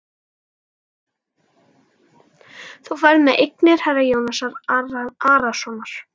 Þú ferð með eignir herra Jóns Arasonar.